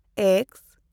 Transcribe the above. X